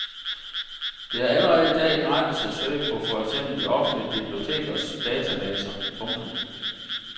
Det er allerede i dag gratis at søge på for eksempel de offentlige bibliotekers databaser. punktum